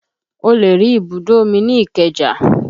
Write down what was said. O lè rí ibùdó omi ní ìkeja